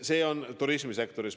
See on turismisektoris.